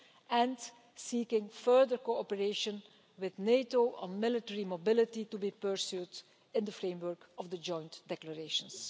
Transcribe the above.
and seeking further cooperation with NATO on military mobility, to be pursued in the framework of the joint declarations.